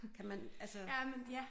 Kan man altså